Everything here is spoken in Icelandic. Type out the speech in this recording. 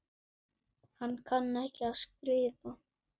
Hann kann ekki að skrifa.